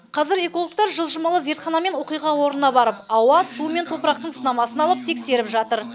қазір экологтар жылжымалы зертханамен оқиға орнына барып ауа су мен топырақтың сынамасын алып тексеріп жатыр